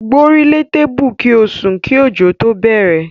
Gbórílé tébù kí ó sùn kí ọ̀jọ̀ tó bẹ̀rẹ̀.